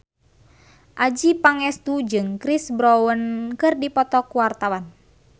Adjie Pangestu jeung Chris Brown keur dipoto ku wartawan